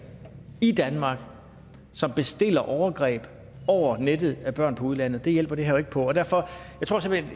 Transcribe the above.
i danmark som bestiller overgreb over nettet af børn i udlandet det hjælper det her jo ikke på